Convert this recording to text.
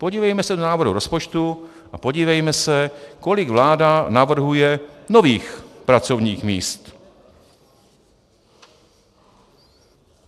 Podívejme se do návrhu rozpočtu a podívejme se, kolik vláda navrhuje nových pracovních míst.